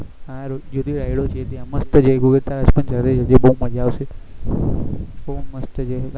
હા જ્યોતિ rides હા જ્યોતિ એમાં મસ્ત મજા આવશે બહુ મસ્ત છે